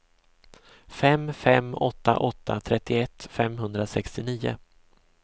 fem fem åtta åtta trettioett femhundrasextionio